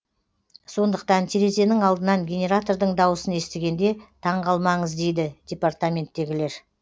сондықтан терезенің алдынан генератордың дауысын естігенде таңғалмаңыз дейді департаменттегілер